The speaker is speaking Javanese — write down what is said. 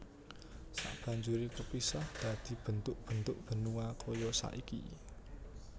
Sabanjuré kepisah dadi bentuk bentuk benua kaya saiki